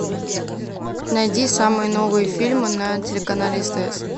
найди самые новые фильмы на телеканале стс